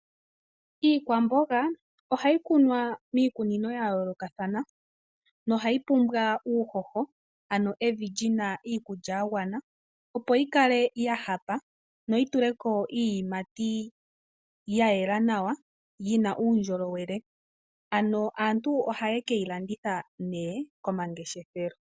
Iikwamboga ohayi kunwa miikunino ya yoolokathana ngaashi yimwe ohayi pumbwa uuhoho opo yi kale ya hapa nawa noyi tuleko iiyimati ya yela noyina uundjolowele nokukeyi landitha komangeshefelo.